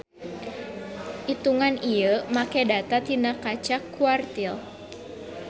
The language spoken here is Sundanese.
Itungan ieu make data tina kaca quartile.